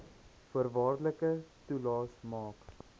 voorwaardelike toelaes maak